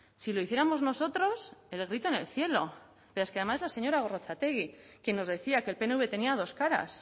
si lo hiciéramos nosotros el grito en el cielo pero es que además la señora gorrotxategi que nos decía que el pnv tenía dos caras